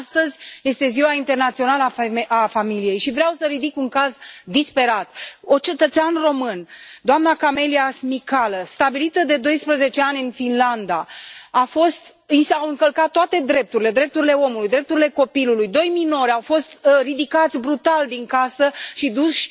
Astăzi este Ziua Internațională a familiei și vreau să ridic un caz disperat unui cetățean român, doamnei Camelia Smicală, stabilită de doisprezece ani în Finlanda, i s au încălcat toate drepturile, drepturile omului, drepturile copilului. Doi minori au fost ridicați brutal din casă și duși